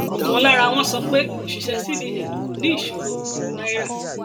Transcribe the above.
ọkan lara wọn sọ pé òṣìṣẹ cbn kò ní ìṣòro pẹlú náírà